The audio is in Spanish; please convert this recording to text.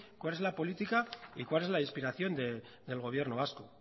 cuál es la política y cuál es la inspiración del gobierno vasco